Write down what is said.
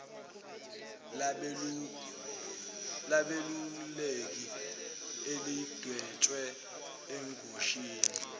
labeluleki elidwetshwe engosini